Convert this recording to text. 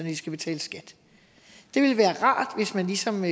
de skal betale skat det ville være rart hvis man ligesom